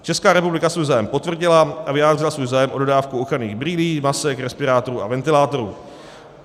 Česká republika svůj zájem potvrdila a vyjádřila svůj zájem o dodávku ochranných brýlí, masek, respirátorů a ventilátorů.